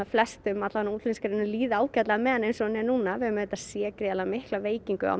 flestum útflutningsgreinum líði ágætlega með hana eins og hún er núna við höfum séð gríðarlega mikla veikingu á